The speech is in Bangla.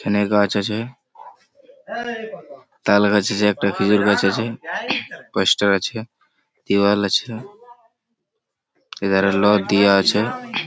এখানে গাছ আছে। তাল গাছ আছে একটা খেঁজুর গাছ আছে । পোস্টার আছে দেওয়াল আছে এধারে লোক দেয়া আছে ।